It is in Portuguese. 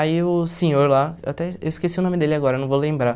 Aí o senhor lá, eu até eu esqueci o nome dele agora, não vou lembrar.